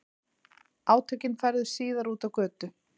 Átökin færðust síðar út á götu